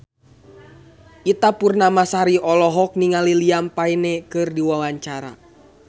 Ita Purnamasari olohok ningali Liam Payne keur diwawancara